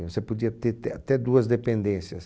E você podia ter té até duas dependências.